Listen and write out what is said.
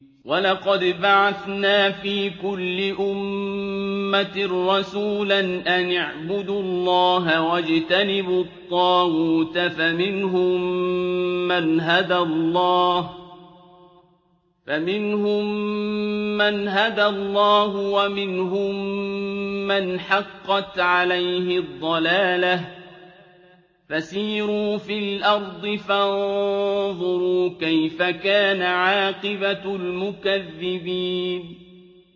وَلَقَدْ بَعَثْنَا فِي كُلِّ أُمَّةٍ رَّسُولًا أَنِ اعْبُدُوا اللَّهَ وَاجْتَنِبُوا الطَّاغُوتَ ۖ فَمِنْهُم مَّنْ هَدَى اللَّهُ وَمِنْهُم مَّنْ حَقَّتْ عَلَيْهِ الضَّلَالَةُ ۚ فَسِيرُوا فِي الْأَرْضِ فَانظُرُوا كَيْفَ كَانَ عَاقِبَةُ الْمُكَذِّبِينَ